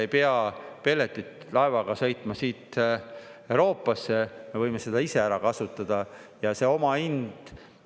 Ei pea pelletit laevaga sõitma siit Euroopasse, me võime seda ise ära kasutada, ja omahind …